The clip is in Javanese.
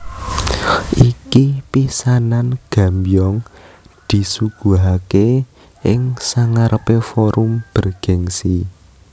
Iki pisanan Gambyong disuguhake ing sangarepe forum bergengsi